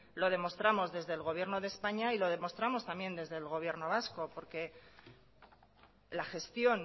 lo demostramos desde el gobierno de españa y lo demostramos desde el gobierno vasco porque la gestión